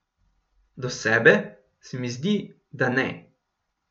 Do sebe, se mi zdi, da ne.